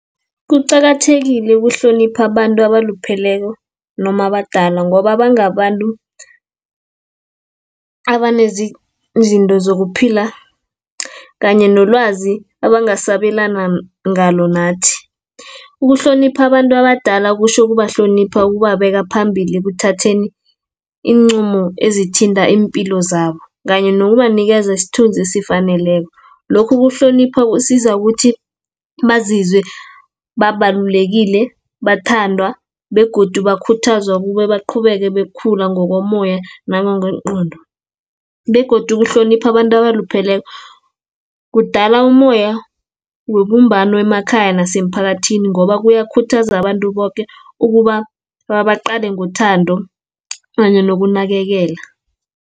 Kuqakathekile ukuhlonipha abantu abalupheleko, noma abadala, ngoba bangabantu abenezinto zokuphila, kanye nolwazi abangasabelana ngalo nathi. Ukuhlonipha abantu abadala kutjho abahlonipha ukubabeka phambili ekuthatheni iinqumo, ezithinta iimpilo zabo, kanye nokubanikeza isithunzi esifaneleko. Lokhu kuhlonipha kusiza ukuthi bazizwe babalulekile, bathandwa, begodu bakhuthazwa kube baqhubeke bekhule ngokomoya nangokwengqondo, begodu ukuhlonipha abantu abalupheleko kudala umoya webumbano emakhaya nasemphakathini, ngoba kuyakhuthaza abantu boke ukuba babaqale ngokuthando kanye nokunakekela.